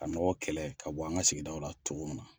Ka nɔgɔ kɛlɛ ka bɔ an ka sigidaw la cogo min na.